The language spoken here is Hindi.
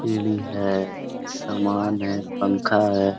सीडी है सामान है पंखा है।